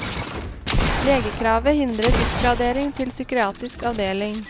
Legekravet hindrer oppgradering til psykiatrisk avdeling.